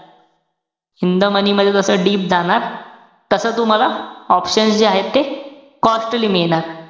In the money मध्ये जसं deep जाणार, तस तुम्हाला options जे आहेत ते costly मिळणार.